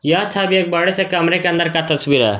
यह छवि एक बड़े से कमरे के अंदर का तस्वीर है।